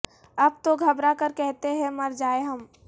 اب تو گھبرا کر کہتے ہیں مر جائیں ہم